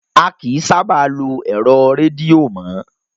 A kìí sábà lo ẹ̀rọ rédìò mọ́.